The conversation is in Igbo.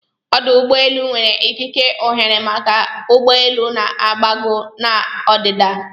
Ọ́dù ụ́gbọ́elụ́ nwere ikike ọ́ghéré maka ụgbọ elu na-agbago na ọdịda